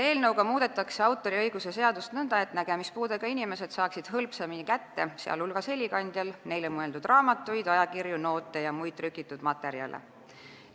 Eelnõuga muudetakse autoriõiguse seadust nõnda, et nägemispuudega inimesed saaksid hõlpsamini kätte, sh helikandjal, neile mõeldud raamatuid, ajakirju, noote ja muid trükitud materjale.